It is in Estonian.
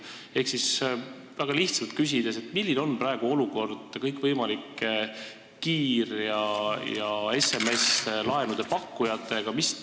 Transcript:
Ehk väga lihtsalt küsides, milline on praegu olukord kõikvõimalike kiir- ja SMS-laenude pakkujatega?